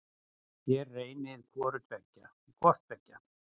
Þér reynið hvort tveggja.